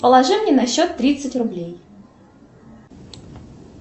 положи мне на счет тридцать рублей